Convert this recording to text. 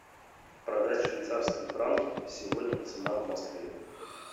продать швейцарские франки сегодня цена в москве